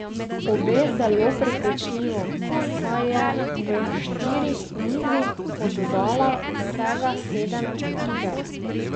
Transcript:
Obe zelo prepričljivo, saj je v štirih nizih oddala vsega sedem iger.